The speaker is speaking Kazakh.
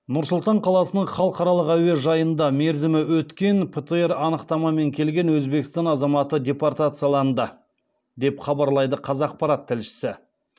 нұр сұлтан қаласының халықаралық әуежайында мерзімі өткен птр анықтамамен келген өзбекстан азаматы депортацияланды деп хабарлайды қазақпарат тілшісі